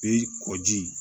Bi kɔji